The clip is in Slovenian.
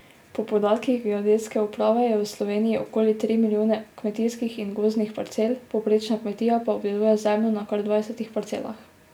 Po podatkih geodetske uprave je v Sloveniji okoli tri milijone kmetijskih in gozdnih parcel, povprečna kmetija pa obdeluje zemljo na kar dvajsetih parcelah.